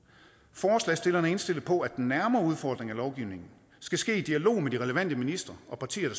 forslagsstillerne er indstillede på at den nærmere udformning af lovgivningen skal ske i dialog med de relevante ministre og partier